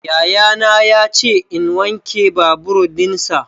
Yayana ya ce in wanke babur dinsa.